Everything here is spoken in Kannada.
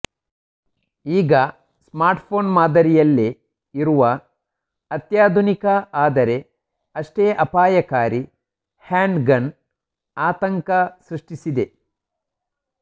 ಈಗ ಸ್ಮಾರ್ಟ್ಫೋನ್ ಮಾದರಿಯಲ್ಲೇ ಇರುವ ಅತ್ಯಾಧುನಿಕ ಆದರೆ ಅಷ್ಟೇ ಅಪಾಯಕಾರಿ ಹ್ಯಾಂಡ್ಗನ್ ಆತಂಕ ಸೃಷ್ಟಿಸಿದೆ